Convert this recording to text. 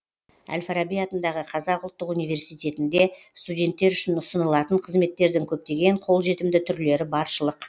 әл фараби атындағы қазақ ұлттық университетінде студенттер үшін ұсынылатын қызметтердің көптеген қолжетімді түрлері баршылық